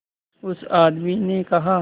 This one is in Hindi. उस आदमी ने कहा